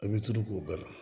I bɛ tulu k'o bɛɛ la